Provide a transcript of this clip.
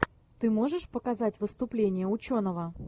ты можешь показать выступление ученого